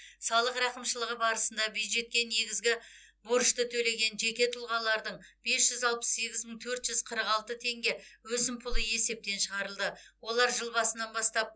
салық рақымшылығы барысында бюджетке негізгі борышты төлеген жеке тұлғалардың бес жүз алпыс сегіз мың төрт жүз қырық алты теңге өсімпұлы есептен шығарылды олар жыл басынан бастап